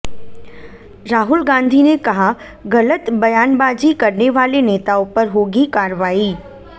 राहुल गांधी ने कहा गलत बयानबाजी करने वाले नेताओं पर होगी कार्रवाई